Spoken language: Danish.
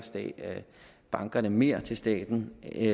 bankerne netto mere til staten end